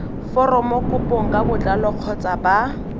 foromokopong ka botlalo kgotsa ba